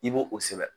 I b'o o sɛbɛn